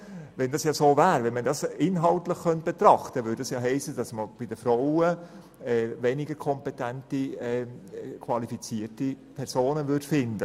Könnte man es inhaltlich betrachten, würde es bedeuten, dass man bei den Frauen weniger kompetente und qualifizierte Personen findet.